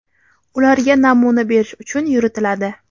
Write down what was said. ularga namuna berish uchun yuritiladi.